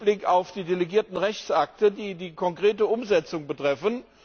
im Hinblick auf die delegierten Rechtsakte, die die konkrete Umsetzung betreffen.